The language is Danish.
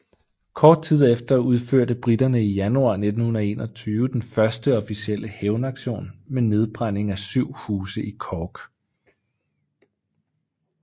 Kort tid efter udførte briterne i januar 1921 den første officielle hævnaktion med nedbrænding af syv huse i Cork